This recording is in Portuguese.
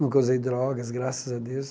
Nunca usei drogas, graças a Deus.